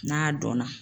N'a dɔn na